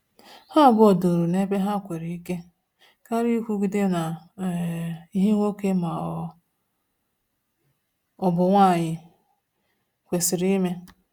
Ha abụọ duru na-ebe ha nwere ike, karịa ikwugide na um ihe nwoke ma ọ bụ nwanyi kwesịrị ime